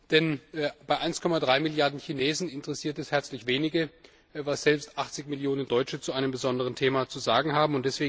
Denn bei 1,3 Milliarden Chinesen interessiert es herzlich wenige, was selbst 80 Millionen Deutsche zu einem besonderen Thema zu sagen haben.